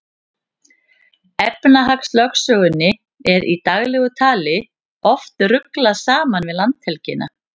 Efnahagslögsögunni er í daglegu tali oft ruglað saman við landhelgina.